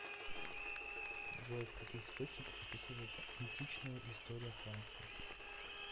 джой в каких источниках описывается античная история франции